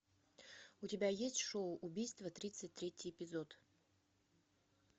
у тебя есть шоу убийство тридцать третий эпизод